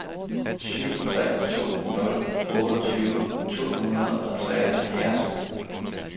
syv tre to nul otteogtyve to hundrede og treoghalvfjerds